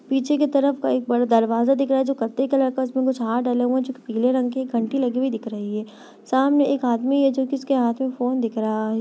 पीछे की तरफ का एक बड़ा दरवाजा दिख रहा है जो कत्थई कलर का है उसमें कुछ हार डले हुए हैं जो पीले रंग के हैं घंटी लगी हुई दिख रही है सामने एक आदमी है जो कि उसके हाथ में फोन दिख रहा है।